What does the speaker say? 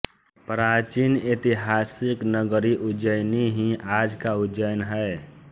प्राचीन ऐतिहासिक नगरी उज्जैयनी ही आज का उज्जैन है